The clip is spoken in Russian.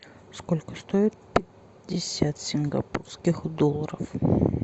сколько стоит пятьдесят сингапурских долларов